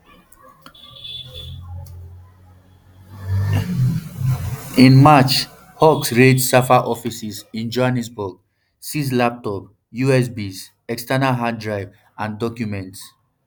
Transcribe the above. in march hawks raid safa offices in johannesburg seize laptop usbs external hard drives and documents